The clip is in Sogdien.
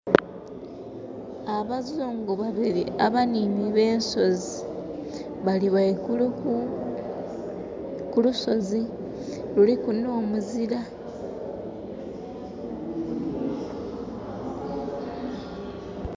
Abazungu babiri abaniini be nsozi bali waigulu ku, ku lusozi, luliku n'omuzira